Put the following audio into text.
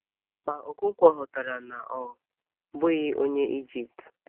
Ma, Ọkọnkwo ghọtara na ọ bụghị Onye Ijipt.